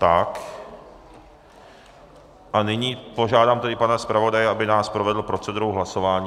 Tak a nyní požádám tedy pana zpravodaje, aby nás provedl procedurou hlasování.